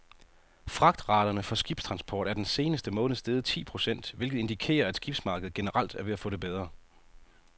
Fragtraterne for skibstransport er den seneste måned steget ti procent, hvilket indikerer, at skibsmarkedet generelt er ved at få det bedre.